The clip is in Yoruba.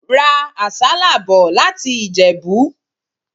Ra àsálà bò láti Ìjẹ̀bú.